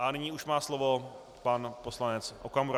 A nyní už má slovo pan poslanec Okamura.